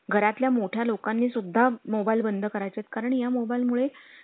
घरातल्या मोठा लोकांनी सुद्धा mobile बंद करायचे कारण ह्या mobile मुळे